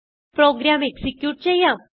programme execute ചെയ്യാം